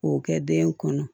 K'o kɛ den kɔnɔ